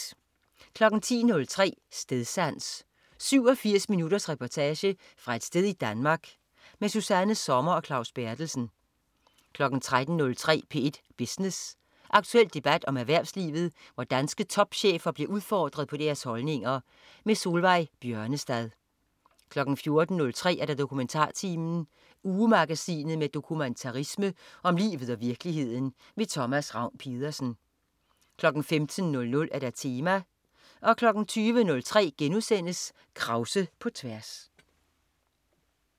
10.03 Stedsans. 87 minutters reportage fra et sted i Danmark. Susanna Sommer og Claus Berthelsen 13.03 P1 Business. Aktuel debat om erhvervslivet, hvor danske topchefer bliver udfordret på deres holdninger. Solveig Bjørnestad 14.03 DokumentarTimen. Ugemagasinet med dokumentarisme om livet og virkeligheden. Thomas Ravn-Pedersen 15.00 Tema 20.03 Krause på tværs*